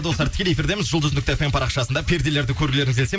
достар тікелей эфирдеміз жұлдыз нүкте фм парақшасында перделерді көргілеріңіз келсе